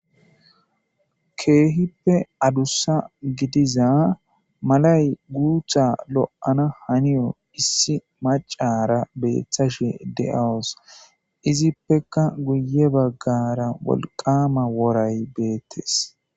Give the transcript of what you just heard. Keehippe adussa gidiza malay guutha lo'ana haniyo issi macara beeththashe de'awus izippeka guye baggara wolqama woray beettes.